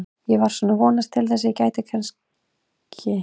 Ég var svona að vonast til þess að ég gæti kannski.